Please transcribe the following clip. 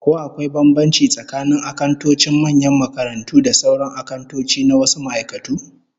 Ko akwai bambanci tsakanin akantocin manyan makarantu da sauran akantoci na wasu ma'aikatu?